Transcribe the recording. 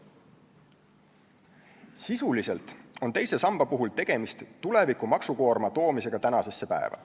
Sisuliselt on teise samba puhul tegemist tuleviku maksukoorma toomisega tänasesse päeva.